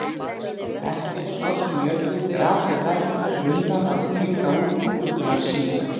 Ekkert frost í jörð, grasið grænt, runnar að springa út og fuglar syngja.